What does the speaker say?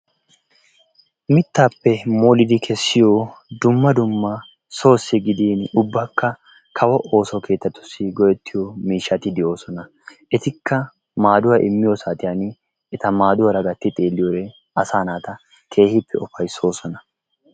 mittappe moliddi kessiya dumma dumma soossi gidin ubbakka kawo ooso keettatussi go''ettiyo miishshati de'oosona. etikka maadduwa immiyo saatiyaan eta maaduwaara gatti xeelliyoode asaa naata keehi ufayssoosona.